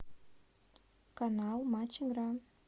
канал матч игра